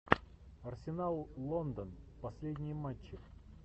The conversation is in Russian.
арсенал лондон последние матчи